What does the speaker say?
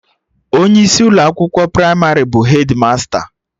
Onye isi Ụlọ akwụkwọ pramarị bụ hedmasta